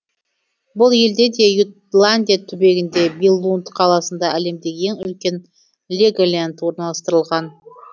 бұл елде де ютландия түбегінде биллунд қаласында әлемдегі ең үлкен леголенд орналастырылған